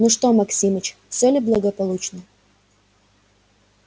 ну что максимыч все ли благополучно